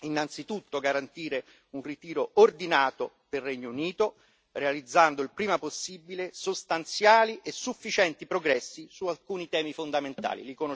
Innanzitutto garantire un ritiro ordinato del Regno Unito, realizzando il prima possibile sostanziali e sufficienti progressi su alcuni temi fondamentali.